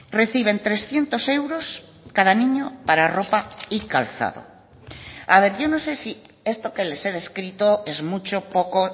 reciben trescientos euros cada niño para ropa y calzado a ver yo no sé si esto que les he descrito es mucho poco